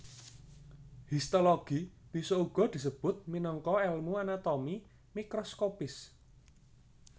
Histologi bisa uga disebut minangka èlmu anatomi mikroskopis